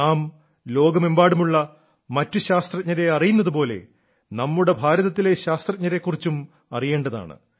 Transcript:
നാം ലോകമെമ്പാടുമുള്ള മറ്റു ശാസ്ത്രജ്ഞരെ അറിയുന്നതു പോലെ നമ്മുടെ ഭാരതത്തിലെ ശാസ്ത്രജ്ഞന്മാരെ കുറിച്ചും അറിയേണ്ടതാണ്